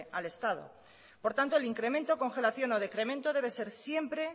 al estado por tanto el incremento congelación o decremento debe ser siempre